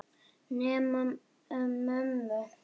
Nema mömmu.